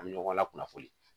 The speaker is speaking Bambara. An bɛ ɲɔgɔn lakunnafoni